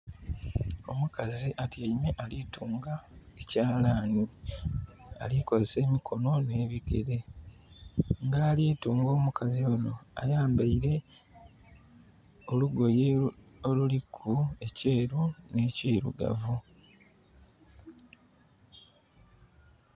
Omukazi atyaime ali tunga ekyalaani. Ali kozesa emikono n'ebigere. Nga ali tunga omukazi onho ayambaile olugoye oluliku ekyeeru n'ekirugavu.